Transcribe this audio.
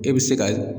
E bɛ se ka